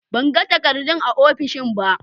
Ban gani takardun a ofishin ba.